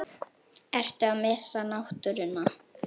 Ertu að missa náttúruna?